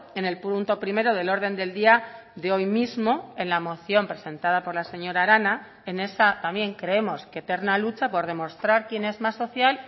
en el punto primero del orden del día de hoy mismo en la moción presentada por la señora arana en esa también creemos que eterna lucha por demostrar quién es más social